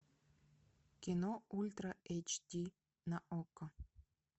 кино ультра эйч ди на окко